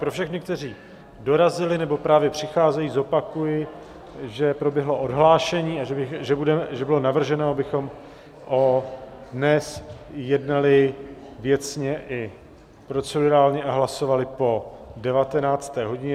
Pro všechny, kteří dorazili nebo právě přicházejí, zopakuji, že proběhlo odhlášení a že bylo navrženo, abychom dnes jednali věcně i procedurálně a hlasovali po 19. hodině.